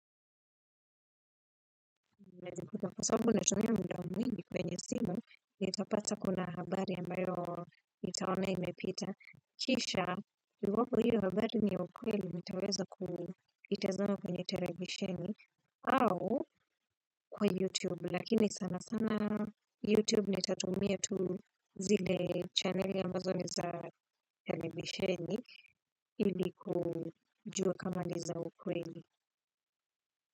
Nazikuta. Kwa sababu natumia muda mwingi kwenye simu, niitapata kuna habari ambayo nitaona imepita. Kisha, iwapo hio habari ni ukweli, nitaweza kuitazama kwenye televisheni au kwa YouTube. Lakini sana sana YouTube, nitatumia tu zile channeli ambazo ni za televisheni ili kujua kama ni za ukweli.